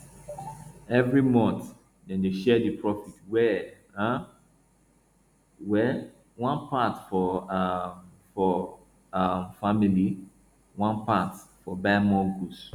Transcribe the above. every month dem dey share the profit well um well one part for um for um family one part for buy more goods